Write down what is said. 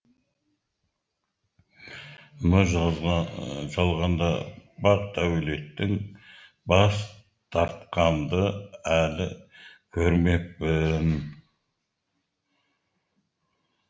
мына жалғанда бақ дәулеттен бас тартқанды әлі көрмеппін